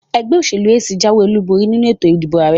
Ẹgbẹ́ òṣèlú AC jáwé olúborí nínu ètò ìdìbò àrẹ.